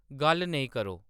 गल्ल नेईं क़रो